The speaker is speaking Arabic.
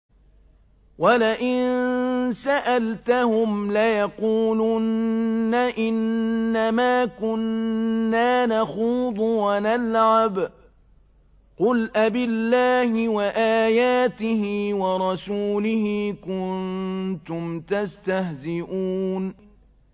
وَلَئِن سَأَلْتَهُمْ لَيَقُولُنَّ إِنَّمَا كُنَّا نَخُوضُ وَنَلْعَبُ ۚ قُلْ أَبِاللَّهِ وَآيَاتِهِ وَرَسُولِهِ كُنتُمْ تَسْتَهْزِئُونَ